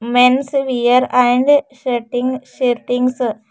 men's wear and shirtings shirtings --